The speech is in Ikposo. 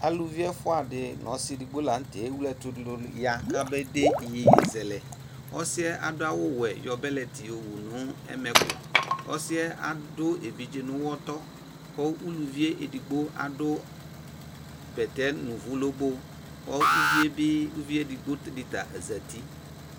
aluvi ɛfʋadɩ nʋ ɔsɩ edigbokʋ la nʋtɛ ewle ɛtʋdʋ ya kabede iyeye zɛlɛ ɔsɩyɛ adʋ awʋwɛ yɔ bɛlɛtɩ wʋzɛ ɛmɛkʋ ɛsɩyɛ adʋ evidze nʋ ʋwɔtɔ uluvi edigbo bɛtɛ nʋ ʋvʋ lobo kʋ uvi edigbo dɩ zatɩ